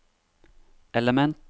element